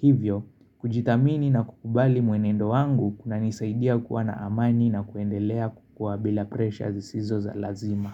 Hivyo, kujithamini na kukubali mwenendo wangu kunanisaidia kuwa na amani na kuendelea kukua bila presha zisizo za lazima.